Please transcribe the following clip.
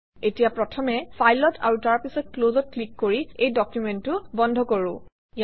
এতিয়া প্ৰথমে File অত আৰু তাৰপিছত Close অত ক্লিক কৰি এই ডকুমেণ্টটো বন্ধ কৰোঁ